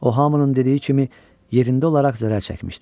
O hamının dediyi kimi yerində olaraq zərər çəkmişdi.